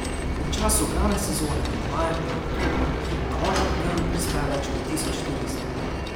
V času glavne sezone med majem in oktobrom na otok dnevno prispe več kot tisoč turistov.